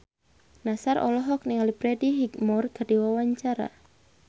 Nassar olohok ningali Freddie Highmore keur diwawancara